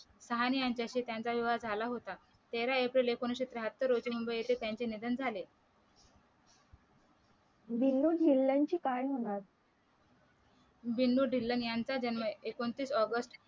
सहानी यांच्याशी त्यांचा विवाह झाला होता तेरा एप्रिल एकोणीशे त्र्याहत्तर रोजी मुंबई येथे त्यांचे निधन झाले बिन्नु धिल्लन चे काय म्हणाल बिन्नु धिल्लन यांचा जन्म एकोणतीस ऑगस्ट